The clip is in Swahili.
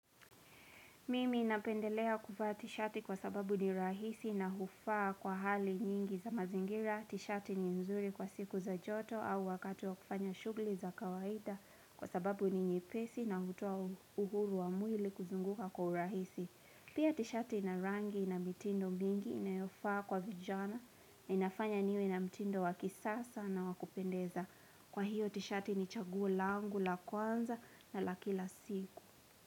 Mimi inapendelea kuvaa tishati kwa sababu ni rahisi na hufaa kwa hali nyingi za mazingira, tishati ni mzuri kwa siku za joto au wakati wa kufanya shugli za kawaida kwa sababu ni nyepesi na hutoa uhuru wa mwili kuzunguka kwa urahisi. Pia tishati inarangi na mitindo mbingi inayofaa kwa vijana na inafanya niwe na mitindo wakisasa na wakupendeza. Kwa hiyo tishati ni chaguo langu la kwanza na la kila siku.